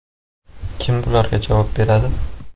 Kim bularga javob beradi?